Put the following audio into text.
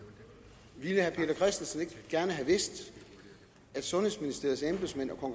ikke gerne have vidst at sundhedsministeriets embedsmænd og